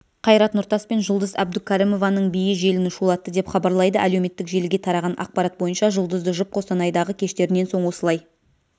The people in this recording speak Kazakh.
қайрат нұртас пен жұлдыз әбдукәрімованың биі желіні шулатты деп хабарлайды әлеуметтік желіге тараған ақпарат бойынша жұлдызды жұп қостанайдағы кештерінен соң осылай